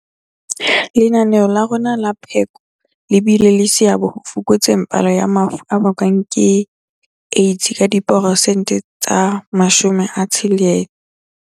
Lenaneo la rona la pheko le bile le seabo ho fokotseng palo ya mafu a bakwang ke AIDS ka 60.